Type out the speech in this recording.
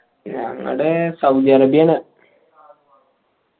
ഞങ്ങടെ സൗദിഅറേബ്യയാണ്